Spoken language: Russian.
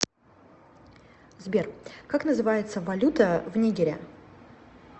сбер как называется валюта в нигере